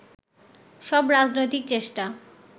সব রাজনৈতিক চেষ্টা